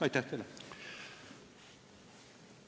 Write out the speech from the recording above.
Aitäh teile!